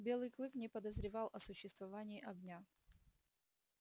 белый клык не подозревал о существовании огня